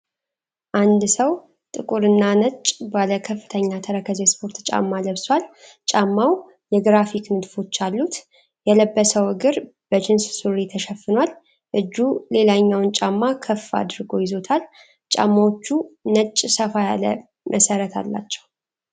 አንድ ሰው ጥቁር እና ነጭ ባለ ከፍተኛ ተረከዝ የስፖርት ጫማ ለብሷል። ጫማው የግራፊክ ንድፎች አሉት። የለበሰው እግር በጅንስ ሱሪ ተሸፍኗል። እጁ ሌላኛውን ጫማ ከፍ አድርጎ ይዞታል። ጫማዎቹ ነጭ ሰፋ ያለ መሰረት አላቸው።